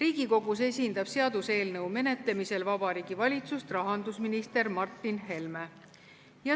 Seaduseelnõu menetlemisel Riigikogus esindab Vabariigi Valitsust rahandusminister Martin Helme.